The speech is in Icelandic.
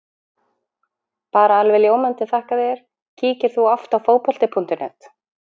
Bara alveg ljómandi þakka þér Kíkir þú oft á Fótbolti.net?